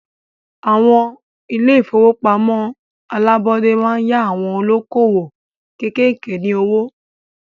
Àwọn ilé ìfọwọ́pamo alábọ́dé máa ń yá àwon olókoòwò kékèké ní owó.